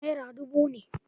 Naira dubu ne.